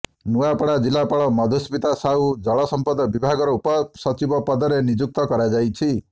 ନୂଆପଡା ଜିଲ୍ଲାପାଳ ମଧୁସ୍ମିତା ସାହୁ ଜଳ ସଂପଦ ବିଭାଗର ଉପ ସଚିବ ପଦରେ ନିଯୁକ୍ତ କରାଯାଇଛି